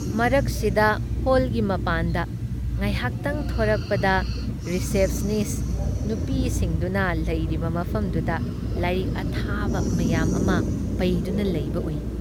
ꯃꯔꯛꯁꯤꯗ ꯍꯣꯜꯒꯤ ꯃꯄꯥꯟꯗ ꯉꯥꯏꯍꯥꯛꯇꯪ ꯊꯣꯔꯛꯄꯗ ꯔꯤꯆꯦꯞꯁꯅꯤꯁ ꯅꯨꯄꯤꯁꯤꯡꯗꯨꯅ ꯂꯩꯔꯤꯕ ꯃꯐꯝꯗꯨꯗ ꯂꯥꯏꯔꯤꯛ ꯑꯊꯥꯕ ꯃꯌꯥꯝ ꯑꯃ ꯄꯩꯗꯨꯅ ꯂꯩꯕ ꯎꯏ ꯫